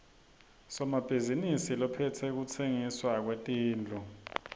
somabhizinisi lophetse kutsengiswa kwetindlu